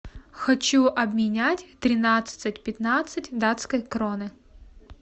хочу обменять тринадцать пятнадцать датской кроны